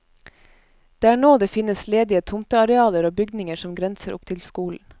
Det er nå det finnes ledige tomtearealer og bygninger som grenser opp til skolen.